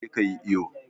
je ka yi iyo!